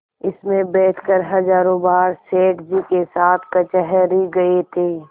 इसमें बैठकर हजारों बार सेठ जी के साथ कचहरी गये थे